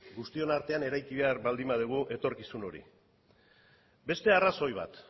guztion artean eraiki behar baldin badugu etorkizun hori beste arrazoi bat